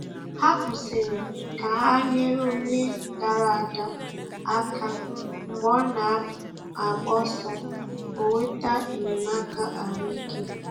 Ha kwụsịrị ka ha nyere onye dara ada aka mgbe ọ na - agba ọsọ ka o nweta enyemaka ahụ ike.